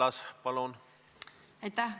Aitäh!